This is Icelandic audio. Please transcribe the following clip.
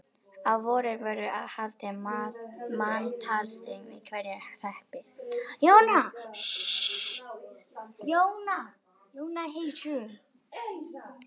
Á vorin voru haldin manntalsþing í hverjum hreppi.